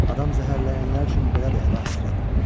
Adam zəhərləyənlər üçün belə deyil, əlahəzrət.